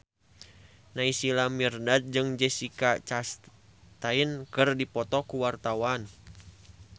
Naysila Mirdad jeung Jessica Chastain keur dipoto ku wartawan